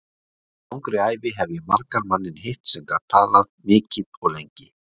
Á langri æfi hef ég margan manninn hitt sem gat talað mikið og lengi.